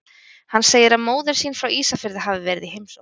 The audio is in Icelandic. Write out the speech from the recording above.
Hann segir að móðir sín frá Ísafirði hafi verið í heimsókn.